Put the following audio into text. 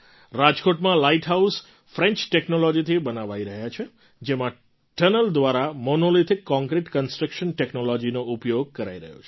રાજકોટમાં light house French ટૅક્નૉલૉજીથી બનાવાઈ રહ્યા છે જેમાં ટનલ દ્વારા મોનોલિથિક કૉન્ક્રિટ કન્સ્ટ્રક્શન ટૅક્નૉલૉજીનો ઉપયોગ કરાઈ રહ્યો છે